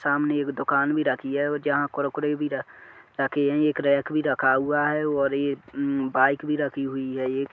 सामने एक दुकान भी रखी है जहा कुरकुरे भी र रखे है। एक रैक भी रखा हुआ है और ये उम बाइक भी रखी हुई है एक।